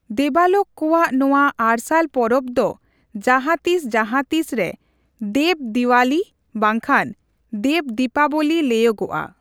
ᱫᱮᱵᱟᱞᱳᱠ ᱠᱚᱣᱟᱜ ᱱᱚᱣᱟ ᱟᱨᱥᱟᱞ ᱯᱚᱨᱚᱵᱽ ᱫᱚ ᱡᱟᱦᱟᱛᱤᱥ ᱡᱟᱦᱟᱛᱤᱥᱨᱮ ᱫᱮᱵᱽᱼᱫᱤᱣᱟᱞᱤ ᱵᱟᱝᱠᱷᱟᱱ ᱫᱮᱵᱽᱼᱫᱤᱯᱟᱵᱚᱞᱤ ᱞᱟᱹᱭᱚᱜᱚᱜᱼᱟ ᱾